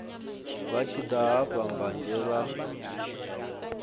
vha tshi daha mbanzhe vha